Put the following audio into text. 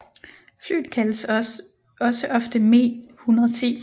Flyet kaldes også ofte Me 110